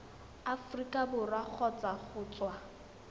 aforika borwa kgotsa go tswa